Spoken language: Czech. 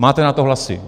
Máte na to hlasy.